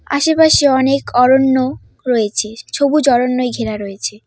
আশেপাশে অনেক অরণ্য রয়েছে সবুজ অরণ্যয় ঘেরা রয়েছে।